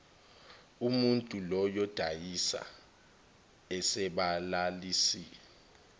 umuntul oyodayisa asabalalise